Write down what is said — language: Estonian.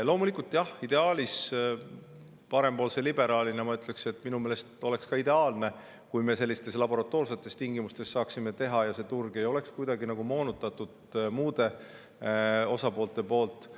Loomulikult, parempoolse liberaalina ma ütleks, et ka minu meelest oleks ideaalne, kui me saaksime seda laboratoorsetes tingimustes teha ja turg ei oleks kuidagi moonutatud muude osaliste poolt.